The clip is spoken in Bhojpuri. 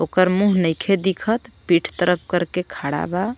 ओकर मुंह नईखे दिखत पीठ तरफ करके खाड़ा बा.